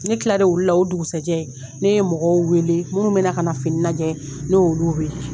Ne kilalen olu la o dugusajɛ ne ye mɔgɔw weele minnu be kana fini lajɛ ne ye olu weele